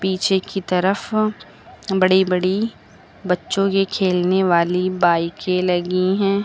पीछे की तरफ बड़ी बड़ी बच्चों की खेलने वाली बाइकें लगी हैं।